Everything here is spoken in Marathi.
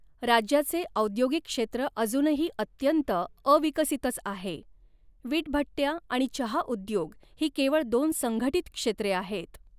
राज्याचे औद्योगिक क्षेत्र अजूनही अत्यंत अविकसितच आहे, विटभट्ट्या आणि चहा उद्योग ही केवळ दोन संघटित क्षेत्रे आहेत.